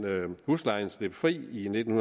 huslejen fri i nitten